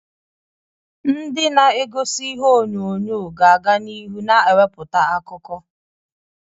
Ndị egosi ihe onyonyo ga-aga n'ihu na-ewepụta akụkọ.